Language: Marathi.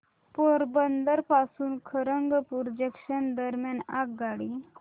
पोरबंदर पासून खरगपूर जंक्शन दरम्यान आगगाडी